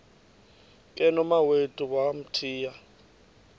ke nomawethu wamthiya